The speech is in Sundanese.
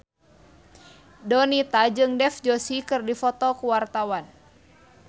Donita jeung Dev Joshi keur dipoto ku wartawan